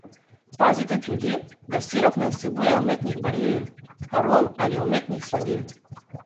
Pazite tudi, da sirup ne vsebuje umetnih barvil, arom ali umetnih sladil.